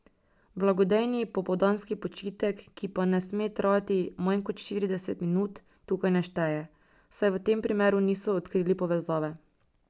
Blagodejni popoldanski počitek, ki pa ne sme trajati manj kot štirideset minut, tukaj ne šteje, saj v tem primeru niso odkrili povezave.